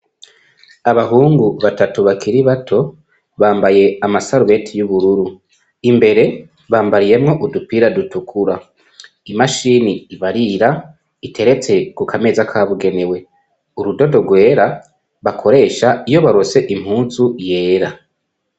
Abahungu batatu bakiri bato bambaye amasarubeti y'ubururu, Imbere, bambayemwo udupira dutukura. Imashini ibarira iteretse ku kameza kabugenewe. Urudodo rwera bakoresha iyo baronse impuzu yera.